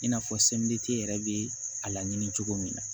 I n'a fɔ semeriti yɛrɛ bɛ a laɲini cogo min na